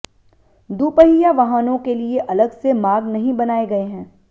दुपहिया वाहनों के लिए अलग से मार्ग नहीं बनाये गये हैं